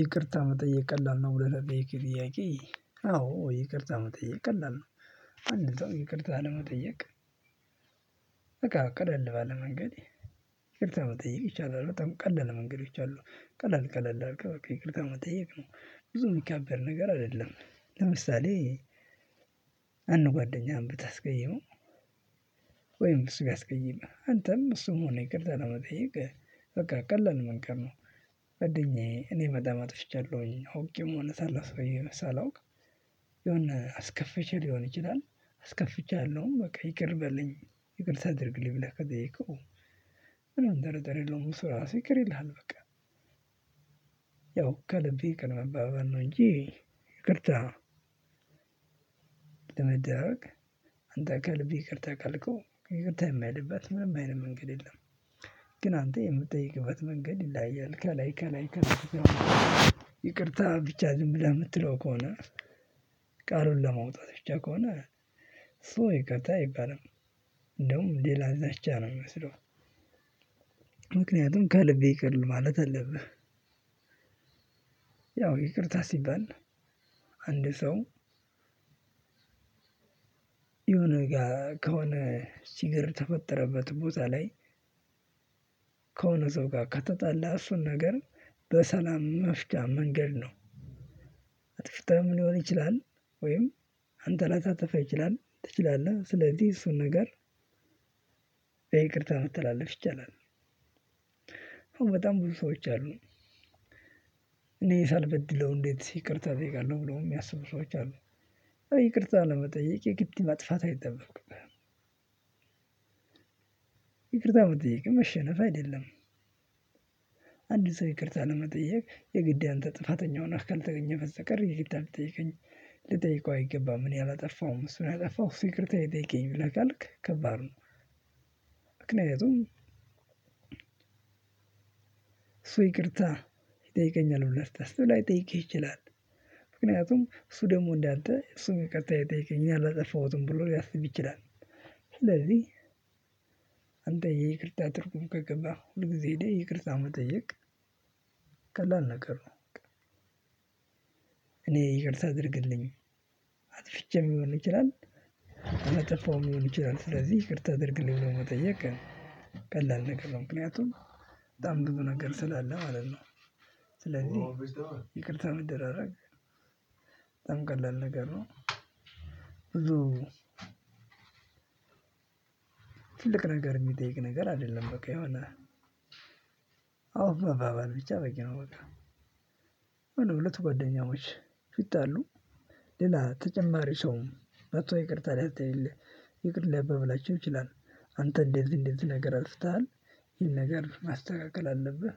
ይቅርታ መጠየቅ ቀላል ነው ብለህ ለጠየከኝ ጥያቄ አዎ ይቅርታ መጠየቅ ቀላል ነው። አንድ ሰው ይቅርታ ለመጠየቅ። እቃ ቀለል ባለ መንገድ ይቅርታ መጠየቅ ይቻላል በጣም ቀላለ መንገዶች አሉ። ቀለል ቀለል አርገህ በቃ ይቅርታ መጠየቅ ነው ብዙ የሚጋበድ ነገር አይደለም። ለምሳሌ አንድ ጓደኛህን ብታስቀየመው። ወይም እሱ ቢያስቀይመህ አንተም እሱም ሆነ ይቅርታ ለመጠየቅ በቃ ቀላል መንገድ ነው። ጓደኛየ እኔ በጣም አጥፍቻለሁኝ አውቄም ሆነ ሳላስቀይምህ ሳላውቅ የሆነ አስከፍቼ ሊሆን ይችላል። አስከፍቼሃለሁ በቃ ይቅር በልኝ ይቅር ታደርግልኝ ብለህ ከጠየከው። ምንም ጥርጥር የለውም እሱ ራሱ ይቅር ይልሃል በቃ። ያው ከልቤ ይቅር መባበል ነው እንጂ ይቅርታ። ለመደረግ አንተ ከልብህ ይቅርታ ካልከው ይቅርታ የማይልበት ምንም አይነት መንገድ የለም። ግን አንተ የምትጠይቅበት መንገድ ይለያያል ከላይ ከላይ ላይከ ይቅርታ ብቻ ዝም ብለህ የምትለው ከሆነ። ቃሉን ለመውጣት ብቻ ከሆነ እሱ ይቅርት አይባልም። እንደውም ሌላ ዛቻ ነው የሚመስለው። ምክንያቱም ከልብህ ይቅርት ማለት ተለብህ። ያው ይቅርታ ሲባል አንድ ሰው የሆነ ጋር ከሆነ ችገር ተፈጠረበት ቦታ ላይ። ከሆነ ሰው ጋር ከተጣላ እሱን ነገር በሰላም መፍቻ መንገድ ነው። አጥፍታ ሊሆን ይችላል ወይም አንተ ላታጠፋ ይችላል ትችላለህ ስለዚህ እሱን ነገር በይቅርታ መተላለፍ ይቻላል። አሁን በጣም ብዙ ሰዎች አሉ። እኔ ሳልበድለው እንዴት ይቅርታ እጠይቃለሁ ብሎ የሚያስቡ ሰዎች አሉ። ይቅርታ ለመጠየቅ የግድ ማጥፋት አይጠበቅብህም። ይቅርታ መጠየቅ መሸነፍ አይደለም። አንድ ሰው ይቅርታ ለመጠየቅ የግድ ያንተ ጥፋተኛ ሁነህ ካልተገኘህ በስተቀር ይቅርታ ለልጠይቀኝ ልጠይቀው አይገባም እኔ ያላጠፋውም እሱ ነው ያጠፋው እሱ ይቅርታ ይጠይቂኝ ብለህ ካልክ ከባድ ነው። ምክንያቱም እሱ ይቅርታ ይጠይቀኛል ሁላ ስታስብ ላይጠይቅህ ይችላል። ምክንያቱም እሱ ደግሞ እንዳንተ እሱም ይቅርታ ይጠይቀኛል አላጠፋሁትም ብሎ ሊያስብ ይችላል። ስለዚህ አንተ የይቅርታ ትርጉም ከገባህ ሁል ጊዜ እኔ ይቅርታ መጠየቅ ቀላል ነገር ነው። እኔ ይቅርታ አድርግልኝ አትፍቼም ሊሆን ይችላል። አላጠፋውም ሊሆን ይችላል ስለዚህ ይቅርታ አድርግልኝ ብሎ መጠየቅ። ቀላል ነገር ነው ምክንያቱም በጣም ብዙ ነገር ስላለ ማለት ነው። ስለዚህ ይቅርታ መደራረግ በጣም ቀለል ነገር ነው። ብዙ ትልቅ ነገር የሚጠይቅ ነገር አይደለም በቃ ይሆነ። አውፍ መባባል ብቻ በቂ ነው በቃ። ሁለቱ ጓደኛሞች ቢጣሉ ሌላ ተጨማሪ ሰውም መጥቶ ይቅርታ ሊያተ ይቅር ሊያባባላቸው ይችላል። አንተ እንደዚ እንደዚ ነገር አጥፍተሃል ይሄን ነገር ማስተካከል አለብህ።